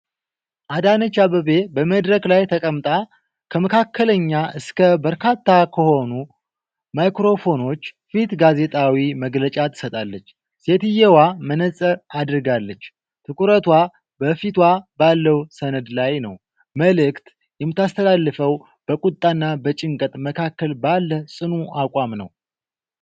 አዳነች አበቤ በመድረክ ላይ ተቀምጣ ከመካከለኛ እስከ በርካታ ከሆኑ ማይክራፎኖች ፊት ጋዜጣዊ መግለጫ ትሰጣለች። ሴትየዋ መነፅር አድርጋለች፤ ትኩረቷ በፊቷ ባለው ሰነድ ላይ ነው። መልእክት የምታስተላልፈው በቁጣና በጭንቀት መካከል ባለ ጽኑ አቋም ነው።